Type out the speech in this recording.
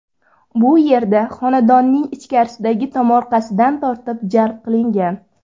Bu yerda xonadonlarning ichkarisidagi tomorqasidan tortib jalb qilgan.